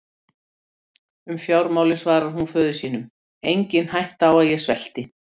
Um fjármálin svarar hún föður sínum: Engin hætta á að ég svelti.